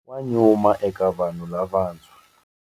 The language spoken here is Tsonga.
Wa nyuma eka vanhu lavantshwa.